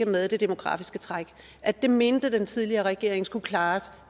med det demografiske træk at det mente den tidligere regering skulle klares